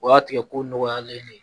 O y'a tigɛ ko nɔgɔyalen de ye